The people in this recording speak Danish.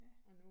Ja